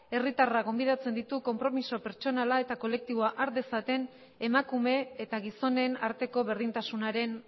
herritarrak gonbidatzen ditu konpromiso pertsonala eta kolektiboa har dezaten emakume eta gizonen arteko berdintasunaren